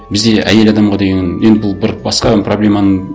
бізде әйел адамға деген енді бір бұл басқа проблеманың